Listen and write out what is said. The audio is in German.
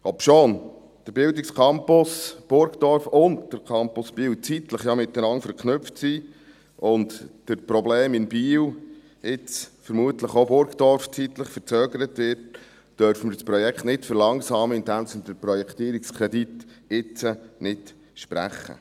Obschon der Bildungscampus Burgdorf und der Campus Biel zeitlich miteinander verknüpft sind und durch die Probleme in Biel jetzt vermutlich auch Burgdorf zeitlich verzögert wird, dürfen wir das Projekt nicht verlangsamen, indem wir den Projektierungskredit jetzt nicht sprechen.